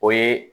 O ye